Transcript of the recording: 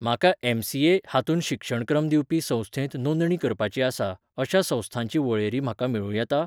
म्हाका एम.सी.ए. हातूंत शिक्षणक्रम दिवपी संस्थेंत नोंदणी करपाची आसा, अशा संस्थांची वळेरी म्हाका मेळूं येता?